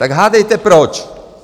Tak hádejte proč?